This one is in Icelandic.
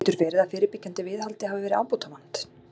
Getur verið að fyrirbyggjandi viðhaldi hafi verið ábótavant?